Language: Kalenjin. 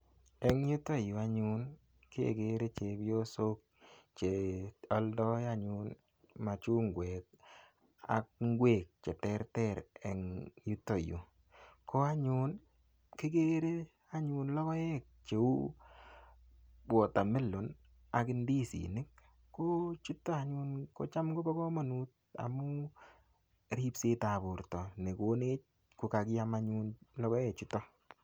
Eng' yutoyu anyun kekere chepyosok cheoldoi anyun machungwek ak ng'wek cheterter eng' yutoyu ko anyun kikere anyun lokoek che uu watermelon ak ndisinik ko chuto anyun kocham kobo kamanut amu ripsetab borto nekonech